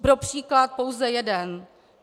Pro příklad pouze jeden.